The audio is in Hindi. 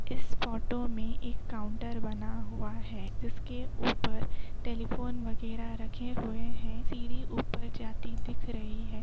इस फोटो में एक काउंटर बना हुआ है जिसके ऊपर टेलीफोन वगैरा रखे हुए है। सीढ़ी ऊपर जाती दिख रही है।